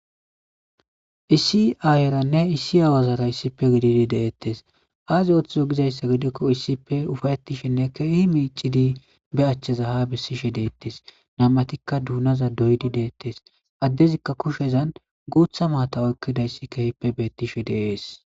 Issi ayirane issi awara issippe gidiidi de'etees azi orhthizo gizayssa gidikko issippe ufa'etiishshenne ke'he miicidi be achcheza haa besiishshe de'ettees nam'atikka dunazan doyidi dettees adezika kushshezan guththa matta oykidayssi ke'ippe betishshe de'ees